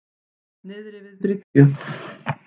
Niðri við bryggju.